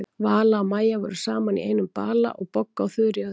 Vala og Maja voru saman í einum bala og Bogga og Þura í öðrum.